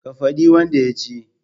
Ka fadi wanda yaci